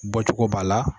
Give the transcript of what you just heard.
Bɔcogo b'a la